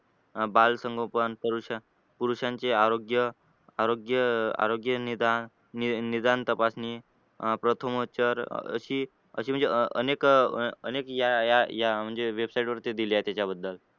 अह बाल संगोपन, पुरुष पुरुषांचे आरोग्य आरोग्य आरोग्य निदान निदान तपासणी अह प्रथमोपचार अशी अशी म्हणजे अं अनेक अनेक या या website वरती दिले आहेत त्याच्याबद्दल.